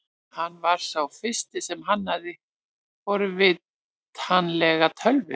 Hann var sá fyrsti sem hannaði forritanlega tölvu.